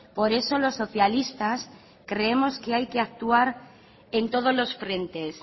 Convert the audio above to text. por eso los socialistas creemos que hay que actuar en todos los frentes